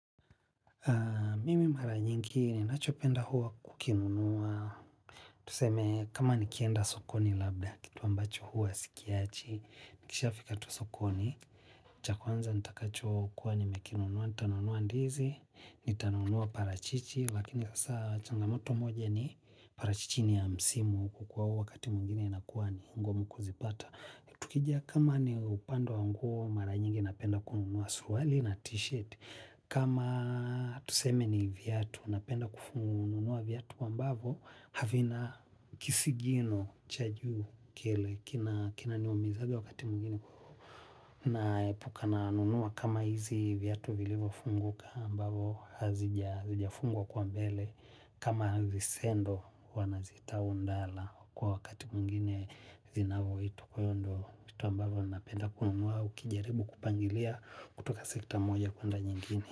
Mimi mara nyingi ninachopenda huwa kukinunua, tuseme kama nikienda sokoni labda kitu ambacho huwa sikiachi, nikishafika tu sokoni, cha kwanza nitakacho kuwa nimekinunua, nitanunua ndizi, nitanunua parachichi, lakini hasa changamoto moja ni parachichi ni ya msimu kukuwa huwa wakati mwingine inakuwa ni ngumu kuzipata. Tukijia kama ni upande wa nguo mara nyingi napenda kununua suruali na t-shirt kama tuseme ni viatu, napenda kununua viatu ambavyo havina kisigino cha juu kinaniumizaga wakati mwingine. Naepuka nanunua kama hizi viatu vilivo funguka ambavo hazijafungwa kwa mbele. Kama visendo wanazitaa ndala kwa wakati mwingine zinavoitwa. Kwa hivyo ndo mtu ambavo napenda kununua ukijaribu kupangilia kutoka sekta moja kuenda nyingini.